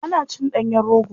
Ana cin ɗanyen rogo.